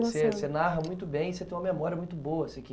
Você você narra muito bem e você tem uma memória muito boa, assim, que